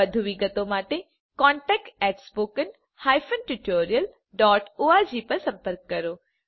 વધુ વિગતો માટે contactspoken tutorialorg પર સંપર્ક કરો